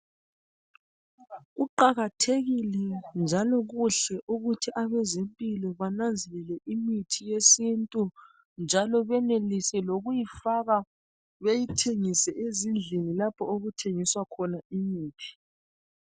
Kuqakathekile njalo kuhle ukuthi abezempilo bananzelele imithi yesintu, njalo benelise lokuyifaka beyithengise ezindlini lapho okuthengiswa khona imithi